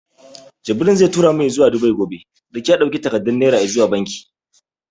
Jibril zai tura mu izuwa Dubai gobe. Duk ya ɗauki takardun Naira izuwa banki.